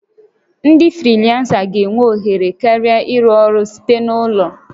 Ndị frilansa ga-enwe ohere karịa ịrụ ọrụ site n'ụlọ